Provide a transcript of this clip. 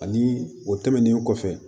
Ani o tɛmɛnen kɔfɛ